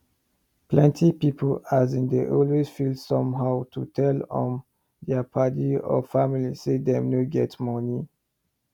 plenty pipu ashin dey always feel somehow to tell um dia paddy or family say dem no get money